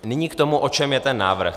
Nyní k tomu, o čem je ten návrh.